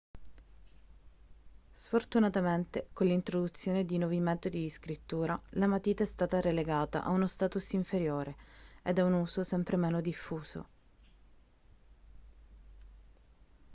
sfortunamente con l'introduzione di nuovi metodi di scrittura la matita è stata relegata a uno status inferiore e ad un uso sempre meno diffuso